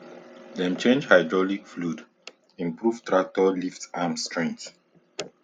dem change hydraulic fluid improve tractor lift arm strength